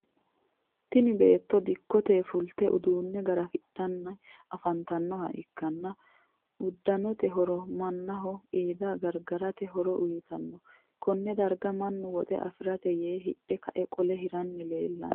Tinni beetto dikkote fulte uduune garafidhanni afantanoha ikanna udanonniti horo mannaho qiida gargarate horo uyitano. Konne darga mannu woxe afirate yee hidhe kae qole hiranni leelano.